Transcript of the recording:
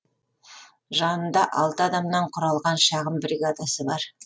жанында алты адамнан құралған шағын бригадасы бар